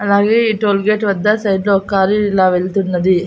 అలాగే ఈ టోల్గేట్ వద్ద సైడ్లో ఒక లారీ ఇలా వెళ్తున్నది.